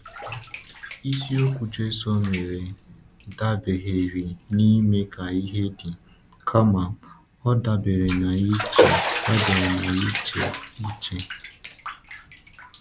Isi okwu Jésù mere dabereghị n’ime ka ihe dị, kama ọ dabere n’iche dabere n’iche iche.